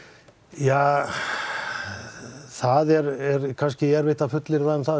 ja það er kannski erfitt að fullyrða um það